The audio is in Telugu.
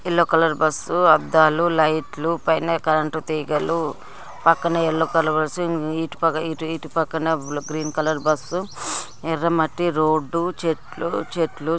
ఎల్లో కలర్ బస్సు అద్దాలు లైట్లు పైన కరెంట్ తీగలు పక్కన ఎల్లో కలర్ బస్సు ఇటు పక్కన గ్రీన్ కలర్ బస్సు ఎర్ర మట్టి రోడ్డు చెట్లు చెట్లు.